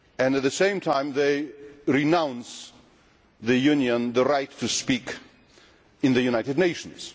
At the same time, they will not give the Union the right to speak in the United Nations.